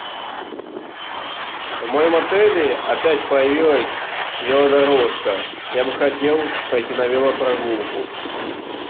в моем отеле опять появилась велодорожка я бы хотел пойти на велопрогулку